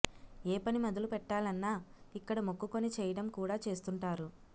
ఏ పని మొదలు పెట్టాలన్నా ఇక్కడ మొక్కుకొని చేయడం కూడా చేస్తుంటారు